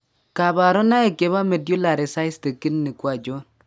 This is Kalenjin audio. kabarunaik chebo Medullary cystic kidney ko achon?